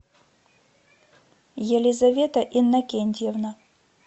елизавета иннокентьевна